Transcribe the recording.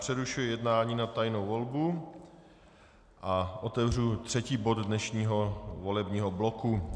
Přerušuji jednání na tajnou volbu a otevřu třetí bod dnešního volebního bloku.